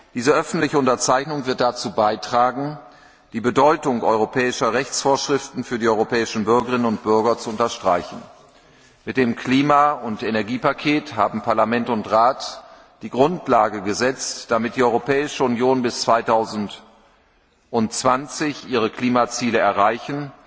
Diese öffentliche Unterzeichnung wird dazu beitragen, die Bedeutung europäischer Rechtsvorschriften für die europäischen Bürgerinnen und Bürger zu unterstreichen. Mit dem Klima und Energiepaket haben Parlament und Rat die Grundlage geschaffen, damit die Europäische Union bis 2020 ihre Klimaziele erreichen